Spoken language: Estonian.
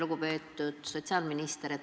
Lugupeetud sotsiaalminister!